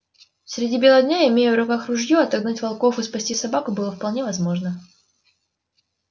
среди бела дня имея в руках ружье отогнать волков и спасти собаку было вполне возможно